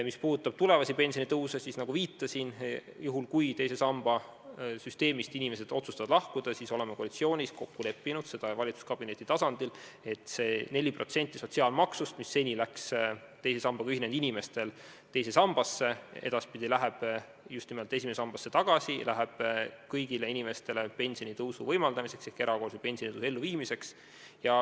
Mis puudutab tulevasi pensionitõuse, siis, nagu viitasin, juhuks kui inimesed otsustavad teise samba süsteemist lahkuda, me oleme koalitsioonis ja valitsuskabineti tasandil kokku leppinud, et see 4% sotsiaalmaksust, mis seni läks teise sambaga ühinenud inimestel teise sambasse, läheb edaspidi just nimelt esimesse sambasse, läheb kõigile inimestele pensionitõusu võimaldamiseks ehk erakorralise pensionitõusu elluviimiseks.